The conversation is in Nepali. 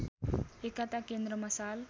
एकताकेन्द्र मसाल